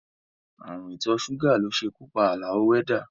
Ààrùn ìtọ́ ṣúgà ló ṣekú pa Àlàó wẹ́dà